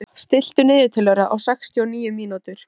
Dóra, stilltu niðurteljara á sextíu og níu mínútur.